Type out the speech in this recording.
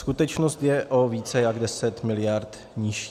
Skutečnost je o více jak 10 mld. nižší.